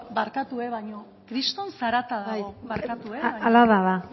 barkatu baino kriston zarata dago bai hala da ba